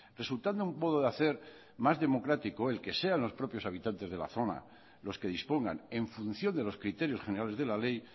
resultando un modo de hacer más democrático el que sean los propios habitantes de la zona los que dispongan en función de los criterios generales de la ley